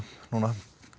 núna